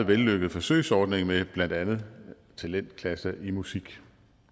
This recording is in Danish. vellykket forsøgsordning med blandt andet talentklasser i musik